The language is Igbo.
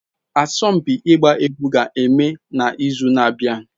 Asompi igba egwu ga-eme na izu na-abia